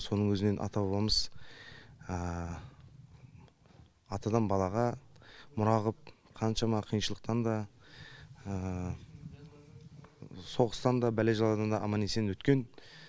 соның өзінен ата бабамыз атадан балаға мұра ғып қаншама қиыншылықтан да соғыстан да бәле жаладан да аман есен өткен